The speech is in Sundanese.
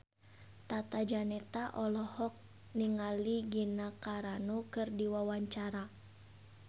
Tata Janeta olohok ningali Gina Carano keur diwawancara